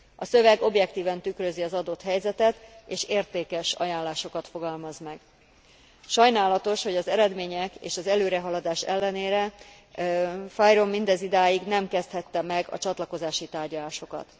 A szöveg objektíven tükrözi az adott helyzetet, és értékes ajánlásokat fogalmaz meg. Sajnálatos, hogy az eredmények és az előrehaladás ellenére FYROM mindezidáig nem kezdhette meg a csatlakozási tárgyalásokat.